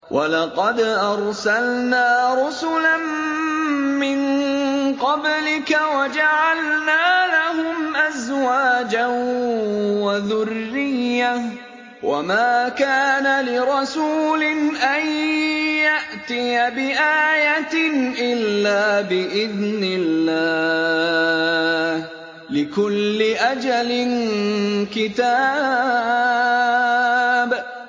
وَلَقَدْ أَرْسَلْنَا رُسُلًا مِّن قَبْلِكَ وَجَعَلْنَا لَهُمْ أَزْوَاجًا وَذُرِّيَّةً ۚ وَمَا كَانَ لِرَسُولٍ أَن يَأْتِيَ بِآيَةٍ إِلَّا بِإِذْنِ اللَّهِ ۗ لِكُلِّ أَجَلٍ كِتَابٌ